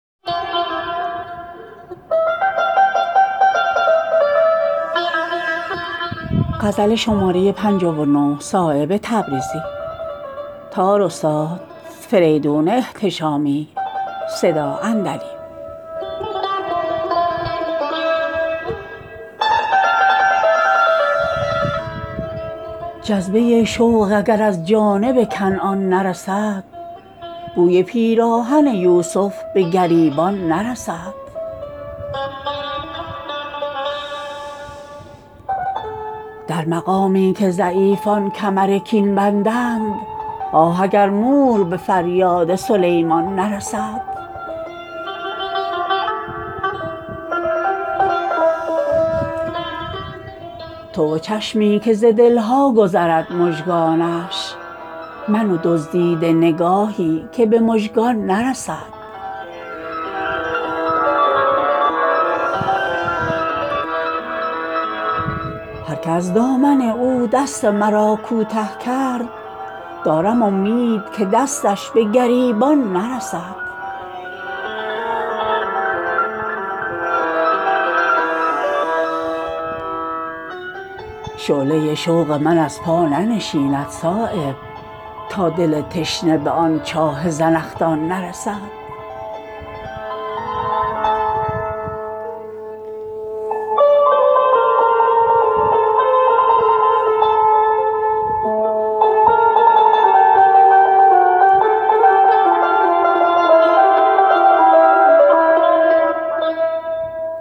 جذبه شوق اگر از جانب کنعان نرسد بوی پیراهن یوسف به گریبان نرسد کعبه در دامن شبگیر بلند افتاده است سیل پر زور محال است به عمان نرسد در مقامی که ضعیفان کمر کین بندند آه اگر مور به فریاد سلیمان نرسد منتهی گشت به خط سلسله زلف دراز نامه شکوه ما نیست به پایان نرسد تو و چشمی که ز دلها گذرد مژگانش من و دزدیده نگاهی که به مژگان نرسد شعله شوق محال است ز پا بنشیند تا دل تشنه به آن چاه زنخدان نرسد هر که از دامن او دست مرا کوته کرد دارم امید که دستش به گریبان نرسد درد رنگین چو کند روی سخن را صایب کار اهل سخن آن به که به سامان نرسد